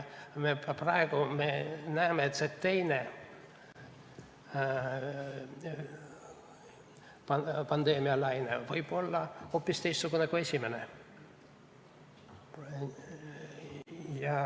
Praegu me näeme, et teine pandeemialaine võib olla hoopis teistsugune kui esimene.